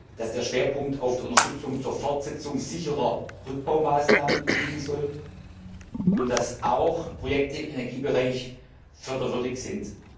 dass der Schwerpunkt auf der Unterstützung zur Fortsetzung sicherer Rückbaumaßnahmen liegen soll und dass auch Projekte im Energiebereich förderwürdig sind.